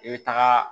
I bɛ taga